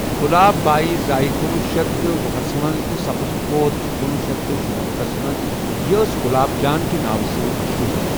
گُلاب بائی زأے کُنوُہ شیتھ وُہس منز تہِ سپد فوت کُنوُہ شیتھ تہٕ شُنمنتَھس منز یہٕ أس گُلاب جان کہِ ناو سۭتۍ مَشہوٗر۔